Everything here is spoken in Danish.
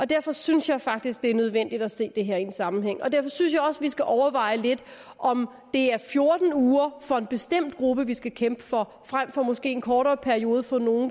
derfor synes jeg faktisk det er nødvendigt at se det her i en sammenhæng og derfor synes jeg også vi skal overveje lidt om det er fjorten uger for en bestemt gruppe vi skal kæmpe for frem for måske en kortere periode for nogle